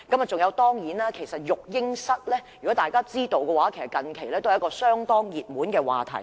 大家都知道，育嬰室也是近期相當熱門的話題。